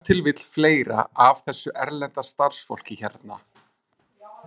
Og ef til vill fleira af þessu erlenda starfsfólki hérna.